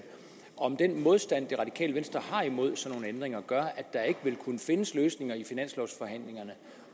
om den modstand det radikale venstre har imod sådan nogle ændringer gør at der ikke vil kunne findes løsninger i finanslovforhandlingerne